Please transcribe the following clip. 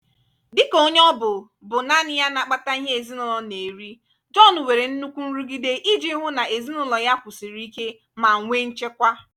dịka onye ọ bụ bụ naanị ya na-akpata ihe ezinụlọ na-eri john nwere nnukwu nrụgide iji hụ na ezinụlọ ya kwụsiri ike ma nwee nchekwa.